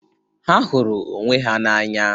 Ha hụrụ onwe ha n'anya.